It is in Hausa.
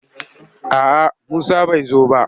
A'a Musa bai zo ba.